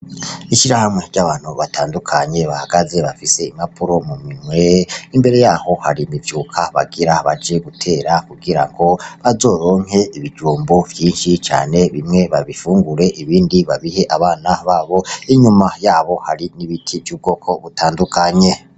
Ishira hamwe ry'abantu batandukanye bahagaze bafise imapuro mu mimwe imbere yaho hari mivyuka bagira hbaje gutera kugira ngo bazoronke ibijumbo vyinshi cane bimwe babifungure ibindi babihe abana babo inyuma yabo hari n'ibiti vy'ubwoko butandukanye.